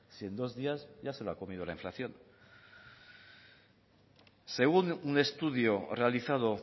si en dos días ya se lo ha comido la inflación según un estudio realizado